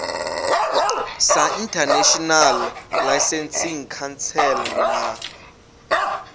sa international licensing council na